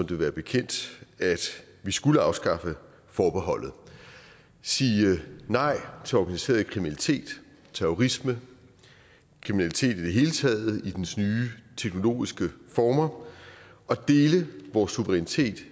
vil være bekendt at vi skulle afskaffe forbeholdet sige nej til organiseret kriminalitet terrorisme kriminalitet i det hele taget i dens nye teknologiske former og dele vores suverænitet